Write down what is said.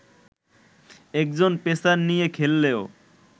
একজন পেসার নিয়ে খেললেও